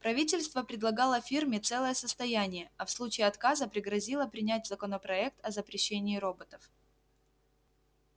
правительство предлагало фирме целое состояние а в случае отказа пригрозило принять законопроект о запрещении роботов